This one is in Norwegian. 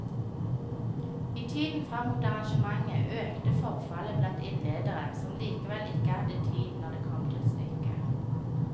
I tiden fram mot arrangementet økte forfallet blant innledere som likevel ikke hadde tid, når det kom til stykket.